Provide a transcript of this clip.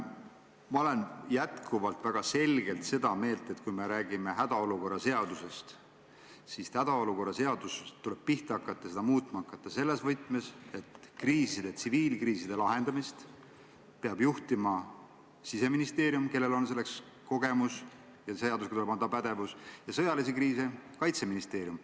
Ma olen jätkuvalt väga selgelt seda meelt, et kui räägime hädaolukorra seadusest, siis selle muutmist tuleb pihta hakata selles võtmes, et tsiviilkriiside lahendamist peab juhtima Siseministeerium, kellel on selleks kogemus ja seadusega pandav pädevus, ning sõjalisi kriise peab juhtima Kaitseministeerium.